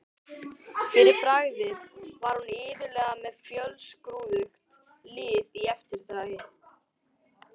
Fyrir bragðið var hún iðulega með fjölskrúðugt lið í eftirdragi.